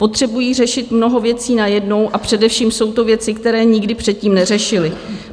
Potřebují řešit mnoho věcí najednou, a především jsou to věci, které nikdy předtím neřešili.